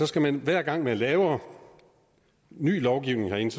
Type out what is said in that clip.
skal man hver gang man laver ny lovgivning herinde